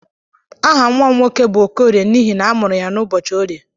Aha nwa m nwoke bu okorie n'ihi na amụrụ ya ụbọchị orie.